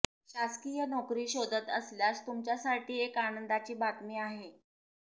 शासकीय नोकरी शोधत असल्यास तुमच्यासाठी एक आनंदाची बातमी आहे